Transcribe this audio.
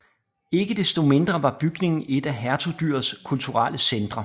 Ikke desto mindre var bygningen et af hertugdyrets kulturelle centre